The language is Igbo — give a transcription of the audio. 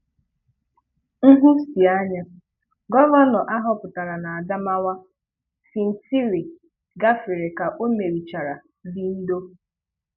Nhụsianya: Gọvanọ ahọpụtara n’Adamawa, Fintiri gā-fere ka ò merichara Bindo.